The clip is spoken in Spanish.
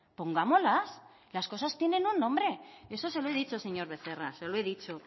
pongámoslas las cosas tienen un nombre y eso se lo he dicho señor becerra